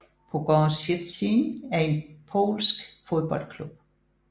Pogoń Szczecin er en polsk fodboldklub